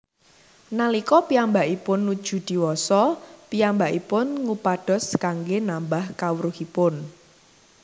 Nalika piyambakipun nuju diwasa piyambakipun ngupados kanggé nambah kawruhipun